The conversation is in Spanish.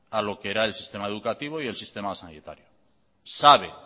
a lo que era el sistema educativo y el sistema sanitario sabe